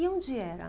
E onde era?